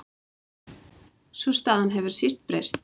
Sú staða hefur síst breyst.